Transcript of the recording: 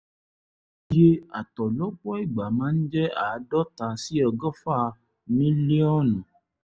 iye àtọ̀ lọ́pọ̀ ìgbà máa ń jẹ́ àádọ́ta sí ọgọ́fà mílíọ̀nù